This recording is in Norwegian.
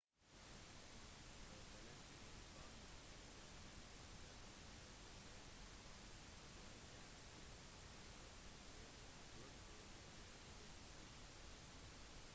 hver forestilling kommer også med anbefalinger til bøker som barn kan se etter når de går på biblioteket sitt